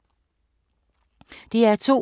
DR2